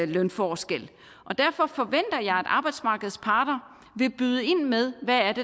lønforskel og derfor forventer jeg at arbejdsmarkedets parter vil byde ind med hvad